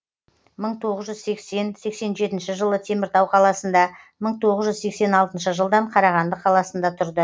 мың тоғыз жүз сексен сексен жетінші жылы теміртау қаласында мың тоғыз жүз сексен алтыншы жылдан қарағанды қаласында тұрды